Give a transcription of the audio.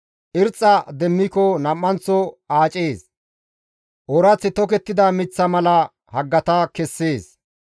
Irxxa demmiko nam7anththo aacees; oorath tokettida miththa mala haggata kessees.